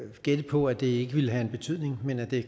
gætte på at det ikke vil have en betydning men at det